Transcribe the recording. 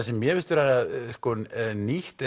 sem mér finnst vera nýtt